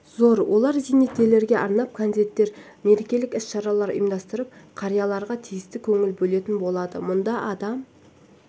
зор олар зейнеткерлерге арнап концерттер мерекелік іс-шаралар ұйымдастырып қарияларға тиісті көңіл бөлетін болады мұнда адам